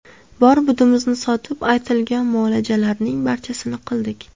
Bor-budimizni sotib, aytilgan muolajalarning barchasini qildik.